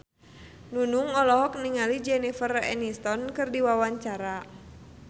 Nunung olohok ningali Jennifer Aniston keur diwawancara